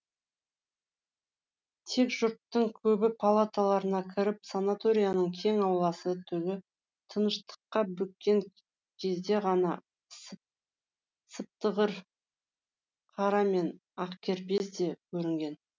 тек жұрттың көбі палаталарына кіріп санаторияның кең ауласы түні тыныштыққа бөккен кезде ғана сыптығыр қара мен ақкербез де көрінген